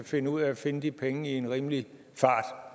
finde ud af at finde de penge i en rimelig fart